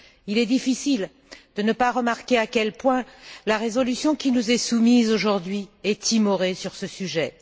Il est difficile de ne pas remarquer à quel point la résolution qui nous est soumise aujourd'hui est timorée sur ce sujet.